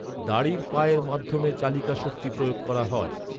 দাঁড়ির পায়ের মাধ্যমে চালিকাশক্তি প্রয়োগ করা হয়।